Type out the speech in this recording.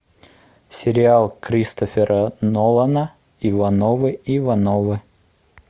сериал кристофера нолана ивановы ивановы